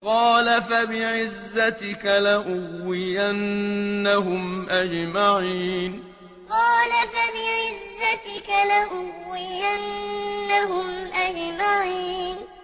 قَالَ فَبِعِزَّتِكَ لَأُغْوِيَنَّهُمْ أَجْمَعِينَ قَالَ فَبِعِزَّتِكَ لَأُغْوِيَنَّهُمْ أَجْمَعِينَ